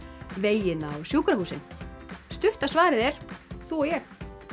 vegina og sjúkrahúsin stutta svarið er þú og ég